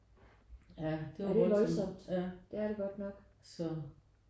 Ja det var voldsomt ja så